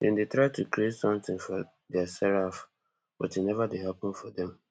dem dey try to create sometin for diaserf but e neva dey happun for dem